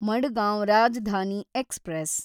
Madgaon Rajdhani express